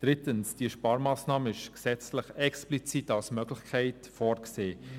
Drittens: Diese Sparmassnahme ist gesetzlich explizit als Möglichkeit vorgesehen.